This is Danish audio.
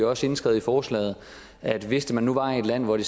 også indskrevet i forslaget at hvis man nu var i et land hvor det